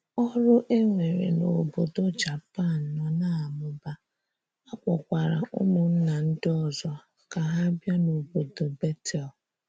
Ọrụ e nwere n'obodo Japan nọ na - amụba, a kpọkwara ụmụnna ndị ọzọ ka ha bịa n'obodo Betel.